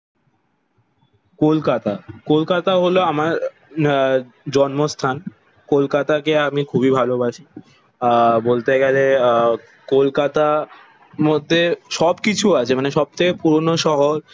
কলকাতা কলকাতা হলো আমার আহ জন্মস্থান। কলকাতা কে আমি খুবিই ভালোবাসি। আহ বলতে গেলে আহ কলকাতা মধ্যে সব কিছু আছে মানে সব থেকে পুরোনো শহর।